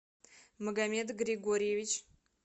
магомед григорьевич